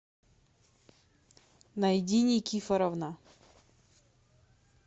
найди никифоровна